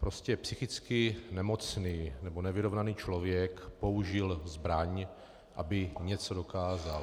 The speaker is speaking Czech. Prostě psychicky nemocný nebo nevyrovnaný člověk použil zbraň, aby něco dokázal.